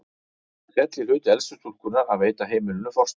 Það féll í hlut elstu stúlkunnar að veita heimilinu forstöðu.